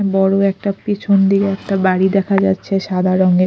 বড়ো একটা পিছন দিকে একটা বাড়ি দেখা যাচ্ছে সাদা রঙের।